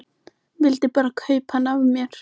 Vildi bara kaupa hana af mér!